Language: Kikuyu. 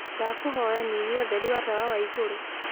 ndakũhoya nyĩhĩa utherĩ wa tawa wa iguru